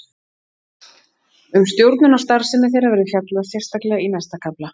Um stjórnun á starfsemi þeirra verður fjallað sérstaklega í næsta kafla.